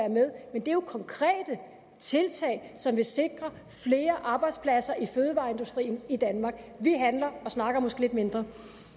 men det er jo konkrete tiltag som vil sikre flere arbejdspladser i fødevareindustrien i danmark vi handler og snakker måske lidt mindre